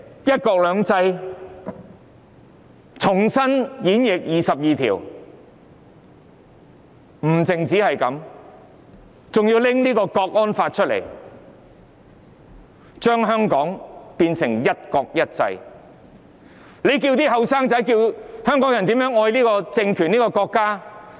不單如此，現時還要在香港直接訂立港區國安法，把香港變成"一國一制"，那要年青人和香港人怎樣愛這個政權和國家？